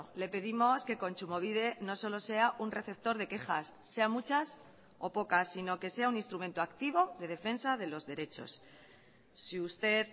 le pedimos que kontsumobide no solo sea un receptor de quejas sea muchas o pocas sino que sea un instrumento activo de defensa de los derechos si usted